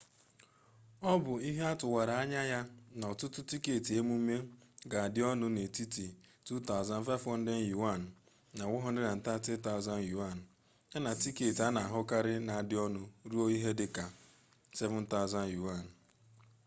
ọ bụ ihe atụwara anya ya na ọtụtụ tiketị emume ga-adị ọnụ n'etiti ¥2,500 na ¥130,000 ya na tiketị a na-ahụkarị na-adị ọnụ ruo ihe dị ka ¥7,000